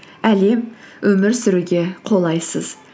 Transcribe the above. әлем өмір сүруге қолайсыз